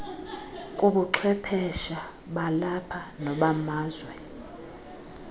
kubuchwephesha balapha nobamazwe